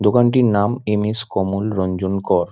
দোকানটির নাম এম.এস কমল রঞ্জন কর।